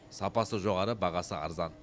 сапасы жоғары бағасы арзан